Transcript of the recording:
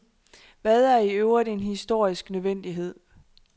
Hvad er i øvrigt en historisk nødvendighed?